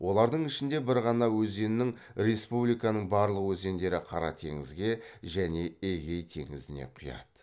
олардың ішінде бір ғана өзеннің республиканың барлық өзендері қара теңізге және эгей теңізіне құяды